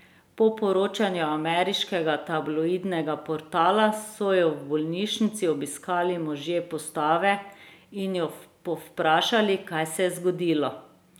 Po poročanju ameriškega tabloidnega portala so jo v bolnišnici obiskali možje postave in jo povprašali, kaj se je zgodilo.